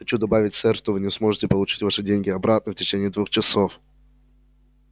хочу добавить сэр что вы не сможете получить ваши деньги обратно в течение двух часов